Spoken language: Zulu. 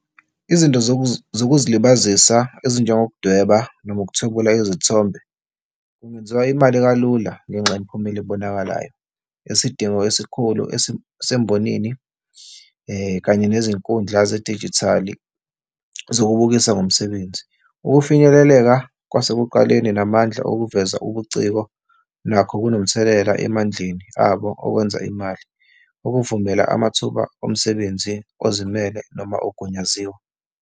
Izinto zokuzilibazisa ezinjengokudweba noma ukuthwebula izithombe kungenziwa imali kalula ngenxa yemiphumela ebonakalayo. Isidingo esikhulu esisembonini kanye nezinkundla zedijithali zokubukisa ngomsebenzi. Ukufinyeleleka kwasekuqaleni namandla okuveza ubuciko nakho kunomthelela emandleni abo okwenza imali, okuvumela amathuba omsebenzi ozimele noma ogunyaziwe.